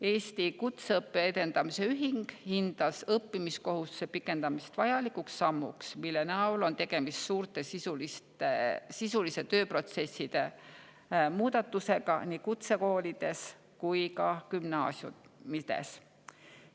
Eesti Kutseõppe Edendamise Ühing hindas õppimiskohustuse pikendamist vajalikuks sammuks, mille näol on tegemist suurte sisuliste tööprotsesside muudatustega nii kutsekoolides kui ka gümnaasiumides.